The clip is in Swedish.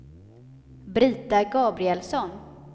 Brita Gabrielsson